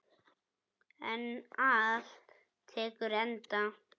En allt tekur enda.